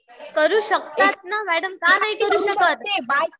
करू शकतात ना मॅडम. का नाही करू शकत.